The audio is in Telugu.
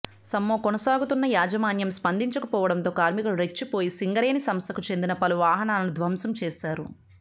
సమ్మె కొనసాగుతున్నా యాజమాన్యం స్పందించకపోవడంతో కార్మికులు రెచ్చిపోయి సింగరేణి సంస్థకు చెందిన పలు వాహనాలను ధ్వంసం చేశారు